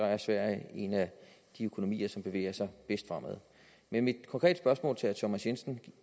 er sverige en af de økonomier som bevæger sig bedst fremad mit konkrete spørgsmål til herre thomas jensen